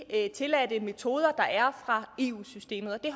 tilladte metoder der er i eu systemet og det